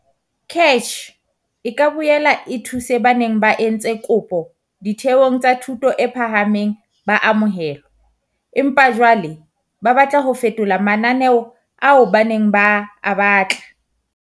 CACH e ka boela e thuse ba neng ba entse kopo ditheong tsa thuto e phahameng ba amohelwa, empa jwale ba batla ho fetola mananeo ao ba neng ba a batla.